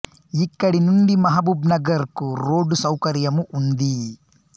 ఇక్కడి నుండి మహబూబ్ నగర్ కు రోడ్డు సౌకర్యము ఉంది